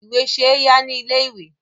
Ìwé ṣe é yá ní ilé-ìwé.